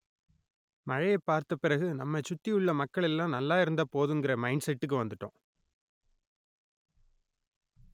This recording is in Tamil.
மழையை பார்த்த பிறகு நம்மை சுத்தி உள்ள மக்கள் எல்லாம் நல்லாயிருந்தா போதும்ங்கிற மைன்ட் செட்டுக்கு வந்துட்டோம்